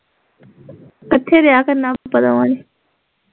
ਕੱਠੇ ਰਿਹਾ ਕਰਨਾ ਆਪਾਂ ਦੋਵਾਂ ਨੇ